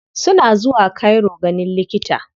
Suna zuwa cairo ganin likita.